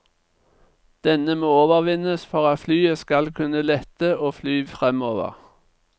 Denne må overvinnes for at flyet skal kunne lette og fly fremover.